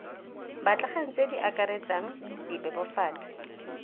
batlegang tse di akaretsang dibebofatsi